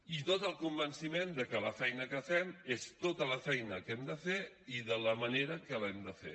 i tot el convenciment de que la feina que fem és tota la feina que hem de fer i de la manera que l’hem de fer